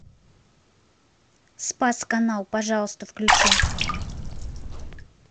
спас канал пожалуйста включи